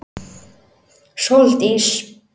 Sóldís